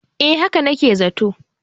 eh haka nake zato